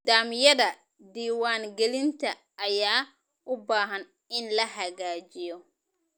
Nidaamyada diiwaan gelinta ayaa u baahan in la hagaajiyo.